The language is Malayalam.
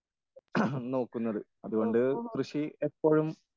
ഓഹോ